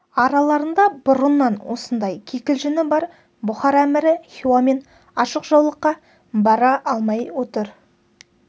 араларында бұрыннан осындай кикілжіңі бар бұхар әмірі хиуамен ашық жаулыққа бара алмай отыр